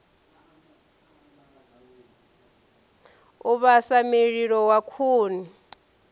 u vhasa mililo wa khuni